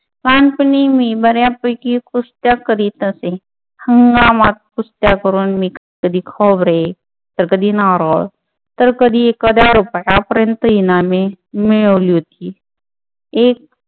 लहानपणी मी बऱ्यापैकी कुस्त्या करत असे. हंगामात कुस्त्या करून मी कधी खोबरे तर कधी नारळ तर कधी एखाद्या रुपयापर्यंत इनामे मिळवली होती. एक